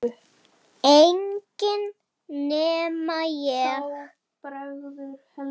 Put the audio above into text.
Enginn nema ég